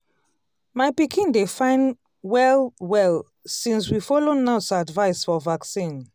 my pikin dey fine well-well since we follow nurse advice for vaccine.